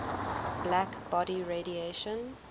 black body radiation